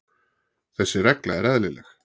Þessi regla er eðlileg.